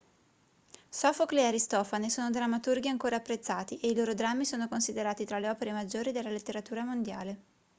sofocle e aristofane sono drammaturghi ancora apprezzati e i loro drammi sono considerati tra le opere maggiori della letteratura mondiale